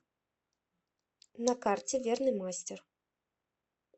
на карте верный мастер